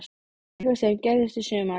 Um eitthvað sem gerðist í sumar?